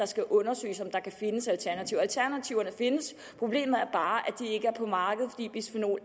skal undersøges om der kan findes alternativer alternativerne findes problemet er bare